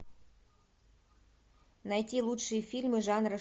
найти лучшие фильмы жанра